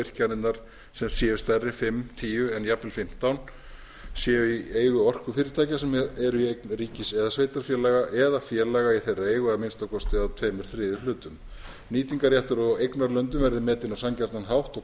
að virkjanir stærri en fimm til tíu eða jafnvel fimmtán mega vöttum séu í eigu orkufyrirtækja sem eru í eign ríkis eða sveitarfélaga eða félaga í þeirra eigu að að minnsta kosti tveir þriðju hlutum nýtingarréttur á eignarlöndum verði metinn á sanngjarnan hátt og